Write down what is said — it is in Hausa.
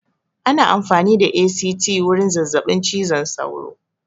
Ana amfani da ACT wurin zazzaɓin cizon sauro